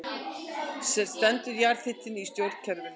Stendur jarðhitinn í stjórnkerfinu